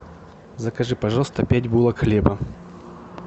закажи пожалуйста пять булок хлеба